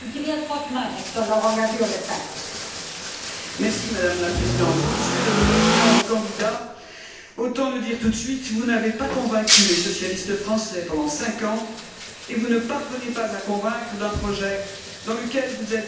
Madame la Présidente, Monsieur le Président candidat, autant le dire tout de suite, vous n'avez pas convaincu les socialistes français pendant cinq ans, et vous ne parvenez pas à convaincre avec un projet dans lequel vous êtes aussi généreux dans la parole que général dans le propos.